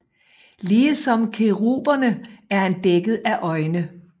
Ligesom keruberne er han dækket af øjne